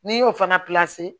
N'i y'o fana